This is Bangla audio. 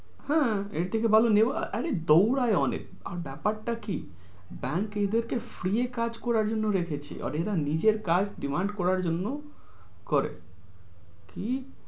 হ্যাঁ এর থেকে ভালো নেবা । আহ দোঁড়াই অনেক আর ব্যাপারটা কি bank এদের কে free কাজ করার জন্য রেখেছে, আর এরা নিজের কাজ demand করার জন্য করে।